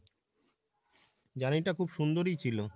journey টা খুব সুন্দরই ছিলো।